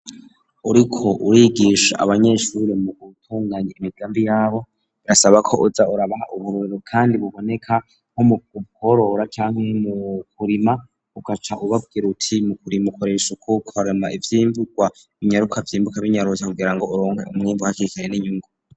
Uriko urigisha abanyeshuri mu gutunganya imigambi yabo birasaba ko uza urabaha uburorero kandi buboneka nko mu bworora cane mu kurima ugaca ubabwira uti mu kurima ukoresha ukukarema ivyimburwa inyaruka vyimbuka binyarosa kugirango uronke umwembu hakikanye n'inyungu